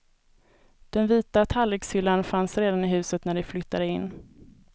Den vita tallrikshyllan fanns redan i huset när de flyttade in.